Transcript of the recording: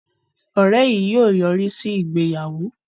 Òré yìí yóò yorisi ìgbéyàwó